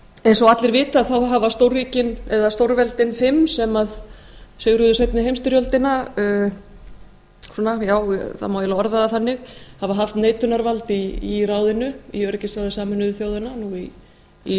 eins og allir vita hafa stórríkin eða stórveldi fimm sem sigruðu seinni heimsstyrjöldina já það má eiginlega orða það þannig hafa haft neitunarvald í öryggisráði sameinuðu þjóðanna nú í